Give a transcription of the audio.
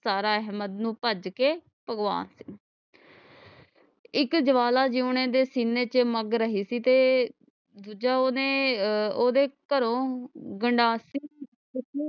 ਸਾਰਾ ਨੂੰ ਕਢ ਕੇ ਭਗਵਾਨ ਤੇ ਇਕ ਜਵਾਲਾ ਜੀ ਉਹਨਾਂ ਦੇ ਸੀਨੇ ਚ ਮਗ ਰਹੀ ਸੀ ਤੇ ਦੂਜਾ ਓਹਨੇ ਅਹ ਓਹਦੇ ਘਰੋਂ ਗੰਡਾਸੇ